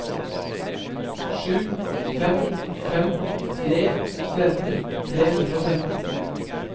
sju fem fem tre tretten tre hundre og tretten